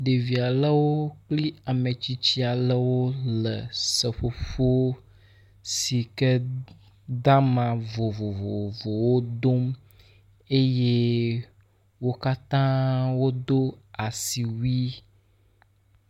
Ɖevi aɖeɖo kple ame tsitsi aɖewo le seƒoƒo si ke de ama vovovowo dom eye wo katã wodo asiwui.